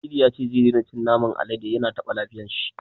Cidi ya ce zai daina cin naman alade, ya na taɓa lafiyar shi.